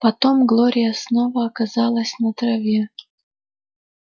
потом глория снова оказалась на траве